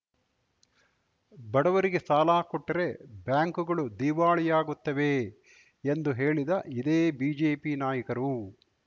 ಬಡವರಿಗೆ ಸಾಲ ಕೊಟ್ಟರೆ ಬ್ಯಾಂಕುಗಳು ದಿವಾಳಿಯಾಗುತ್ತವೆ ಎಂದು ಹೇಳಿದ ಇದೇ ಬಿಜೆಪಿ ನಾಯಕರು